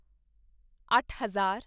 ਅੱਠ ਹਜ਼ਾਰ